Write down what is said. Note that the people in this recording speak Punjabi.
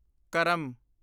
ਕਰਮ